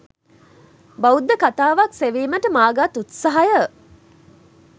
බෞද්ධ කතාවක් සෙවීමට මා ගත් උත්සහය